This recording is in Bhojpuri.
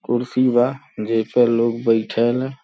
कुर्सी बा जेपे लोग बईठेला।